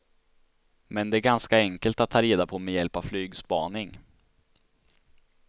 Men det är ganska enkelt att ta reda på med hjälp av flygspaning.